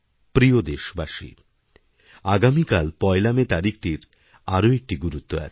প্রিয় দেশবাসী আগামীকাল পয়লা মে তারিখটির আরও একটি গুরুত্বআছে